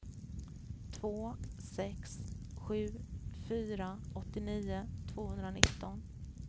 två sex sju fyra åttionio tvåhundranitton